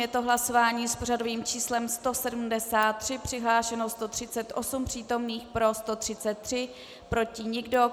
Je to hlasování s pořadovým číslem 173, přihlášeno 138 přítomných, pro 133, proti nikdo.